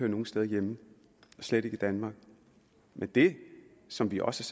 nogen steder hjemme slet ikke i danmark men det som vi også